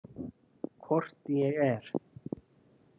Hvort ég er.